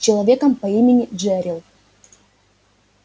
с человеком по имени джерилл